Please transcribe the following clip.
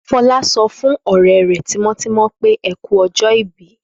Fọlá sọ fún ọ̀rẹ́ rẹ̀ tímọ́tímọ́ pé Ẹ kú ọjọ́-ìbí.